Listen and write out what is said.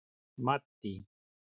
Maddý